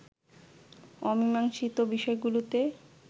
অমীমাংসীত বিষয়গুলোতে